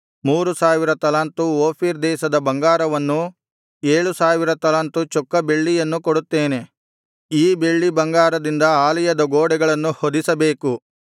ಮೂರು ಸಾವಿರ ತಲಾಂತು ಓಫೀರ್ ದೇಶದ ಬಂಗಾರವನ್ನೂ ಏಳು ಸಾವಿರ ತಲಾಂತು ಚೊಕ್ಕ ಬೆಳ್ಳಿಯನ್ನೂ ಕೊಡುತ್ತೇನೆ ಈ ಬೆಳ್ಳಿ ಬಂಗಾರದಿಂದ ಆಲಯದ ಗೋಡೆಗಳನ್ನು ಹೊದಿಸಬೇಕು